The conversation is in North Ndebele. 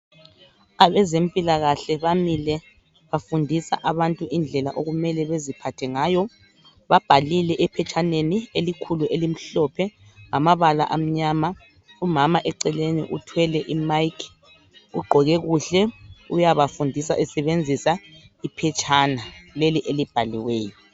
Abezempilakahle bamile bafundisa abantu indlela okumele beziphathe ngayo .Babhalile ephetshaneni elikhulu elimhlophe ngamabala amnyama .Umama eceleni uthwele imic ugqoke kuhle uyabafundisa esebenzisa iphetshana leli elibhaliweyo